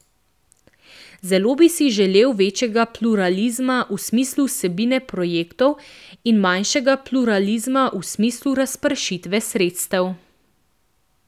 Zelo bi si želeli večjega pluralizma v smislu vsebine projektov in manjšega pluralizma v smislu razpršitve sredstev.